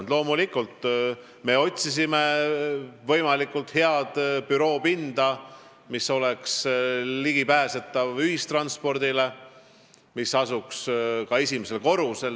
Me loomulikult otsisime võimalikult head büroopinda, mis oleks ligipääsetav ühistranspordiga ja mis asuks esimesel korrusel.